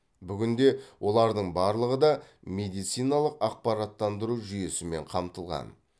бүгінде олардың барлығы да медициналық ақпараттандыру жүйесімен қамтылған